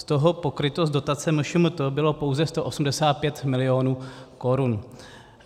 Z toho pokryto z dotace MŠMT bylo pouze 185 milionů korun.